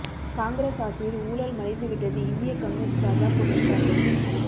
காங்கிரஸ் ஆட்சியில் ஊழல் மலிந்து விட்டது இந்திய கம்யூனிஸ்டு ராஜா குற்றச்சாட்டு